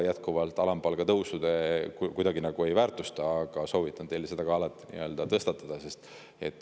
Jätkuvalt ei väärtusta te kuidagi alampalga tõusu, aga soovitan teil seda alati tõstatada.